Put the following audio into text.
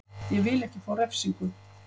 Ég vil ekki fá refsingu.